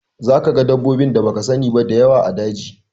Za ka ga dabbobin da baka sani ba da yawa a daji